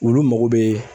Olu mago bɛ